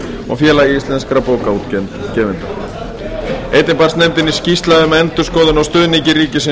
og félagi íslenskra bókaútgefenda einnig barst nefndinni skýrsla um endurskoðun á stuðningi ríkisins